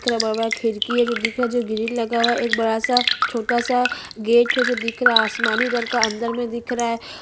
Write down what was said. इस इमेज में मुझे स्कूल दिखाई दे रहा है जो पीले रंग का है और बॉडर है जो रेड का दिखाई दे रहा है निचे सीढ़ी है जो रेड वाइट में दी--